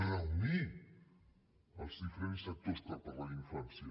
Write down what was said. reunir els diferents actors per parlar d’infància